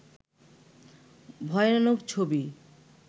ভয়ানক ছবি